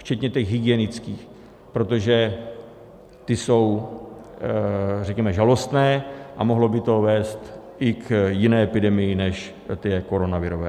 Včetně těch hygienických, protože ty jsou, řekněme, žalostné a mohlo by to vést i k jiné epidemii než té koronavirové.